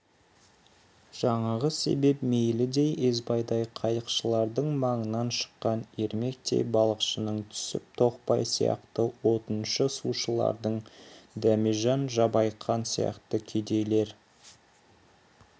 жаңағы себеп мейілдей есбайдай қайықшылардың маңынан шыққан ермектей балықшының түсіп тоқбай сияқты отыншы-сушылардың дәмежан жабайқан сияқты кедейлер